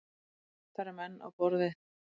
Það eru menn á borð við